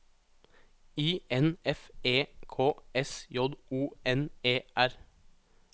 I N F E K S J O N E R